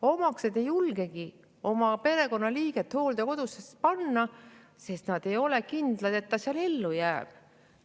Omaksed ei julgegi oma perekonnaliiget hooldekodusse panna, sest nad ei ole kindlad, et ta seal ellu jääb.